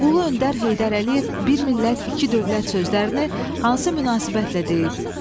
Ulu öndər Heydər Əliyev "Bir millət iki dövlət" sözlərini hansı münasibətlə deyib?